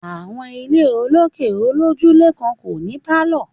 Àwọn ilé olókè olójúlé kan kò ní pálọ̀